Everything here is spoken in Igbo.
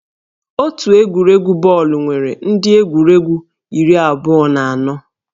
Otu egwuregwu bọọlụ nwere ndị egwuregwu iri abụọ na anọ